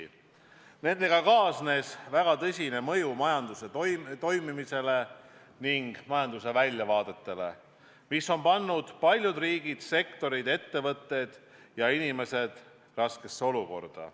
Nende sammudega kaasnes väga oluline mõju majanduse toimimisele ning majanduse väljavaadetele, mis on pannud paljud riigid, sektorid, ettevõtted ja inimesed raskesse olukorda.